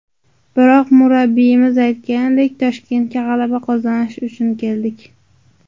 Biroq, murabbiyimiz aytganidek, Toshkentga g‘alaba qozonish uchun keldik.